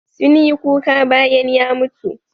Sun yi kuka bayan ya mutu.